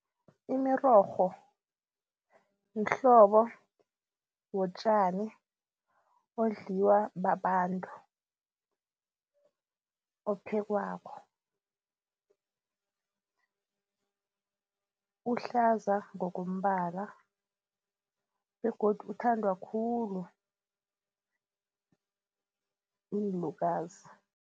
Imirorho mhlobo wotjani odliwa babantu, ophekwako. Uhlaza ngokombala begodu uthandwa khulu yiinlukazi.